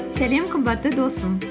сәлем қымбатты досым